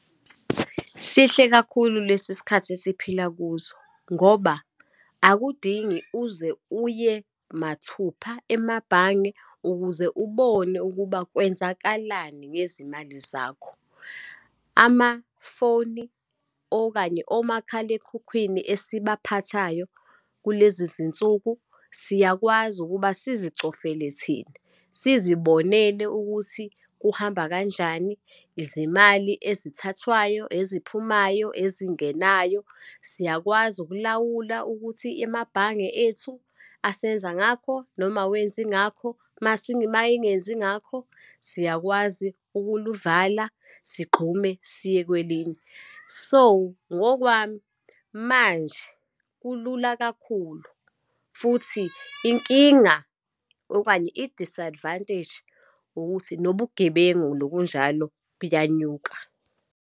Sihle kakhulu lesi sikhathi esiphila kuzo, ngoba akudingi uze uye mathupha emabhange ukuze ubone ukuba kwenzakalani ngezimali zakho. Amafoni, okanye omakhalekhukhwini esibaphathayo kulezizinsuku, siyakwazi ukuba sizicofele thina, sizibonele ukuthi kuhamba kanjani. Izimali ezithathwayo, eziphumayo, ezingenayo, siyakwazi ukulawula ukuthi emabhange ethu, asenza ngakho, noma awenzi ingakho. Uma engenzi ngakho, siyakwazi ukuluvala, sigxume siye kwelinye. So, ngokwami manje kulula kakhulu, futhi inkinga okanye i-disadvantage ukuthi nobugebengu nokunjalo buyanyuka.